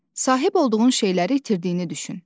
Sahib olduğun şeyləri itirdiyini düşün.